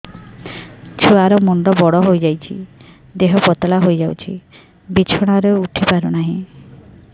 ଛୁଆ ର ମୁଣ୍ଡ ବଡ ହୋଇଯାଉଛି ଦେହ ପତଳା ହୋଇଯାଉଛି ବିଛଣାରୁ ଉଠି ପାରୁନାହିଁ